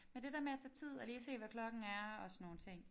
Men det der med at tage tid og lige se hvad klokken er og sådan nogle ting